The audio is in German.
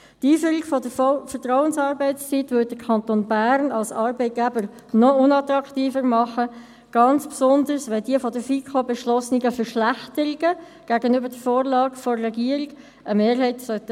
Die Einführung der Vertrauensarbeitszeit würde den Kanton Bern als Arbeitgeber noch unattraktiver machen, insbesondere, wenn die von der FiKo beschlossenen Verschlechterungen gegenüber der Vorlage der Regierung eine Mehrheit finden sollten.